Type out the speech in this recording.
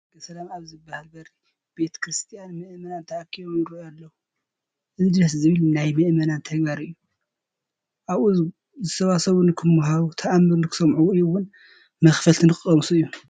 ደገ ሰላም ኣብ ዝበሃል በሪ ቤተ ክርስቲያን ምእመናን ተኣኪቦም ይርአዩ ኣለዉ፡፡ እዚ ደስ ዝብል ናይ ምእመናን ተግባር እዩ፡፡ ኣብኡ ዝሰባሰቡ ንክመሃሩ፣ ተኣምር ንክሰምዑ ወይ እውን መኽፈልቲ ንክቐምሱ እዩ፡፡